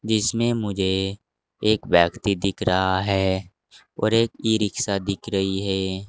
इसमें मुझे एक व्यक्ति दिख रहा है और एक ईरिक्शा दिख रही है।